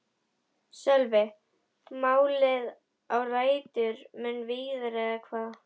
Sölvi: Málið á rætur mun víðar eða hvað?